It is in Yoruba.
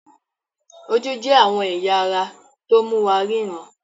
Ojú jẹ́ àwọn ẹ̀ya ara tó mú wa ríran.